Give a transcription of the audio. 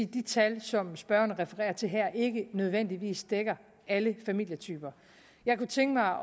de tal som spørgeren refererer til her ikke nødvendigvis dækker alle familietyper jeg kunne tænke mig